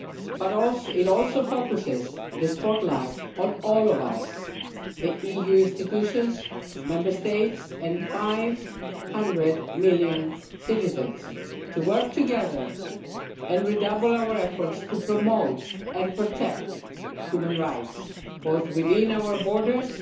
But it also focuses the spotlight on all of us the EU institutions, the Member States, and 500 million citizens to work together and redouble our efforts to promote and protect human rights, both within our borders